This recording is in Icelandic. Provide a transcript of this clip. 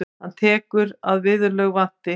Hann telur að viðurlög vanti.